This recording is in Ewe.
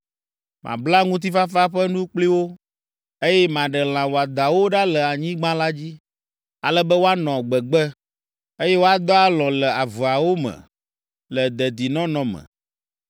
“ ‘Mabla ŋutifafa ƒe nu kpli wo, eye maɖe lã wɔadãwo ɖa le anyigba la dzi, ale be woanɔ gbegbe, eye woadɔ alɔ̃ le avewo me le dedinɔnɔ me.